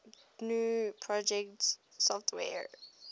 gnu project software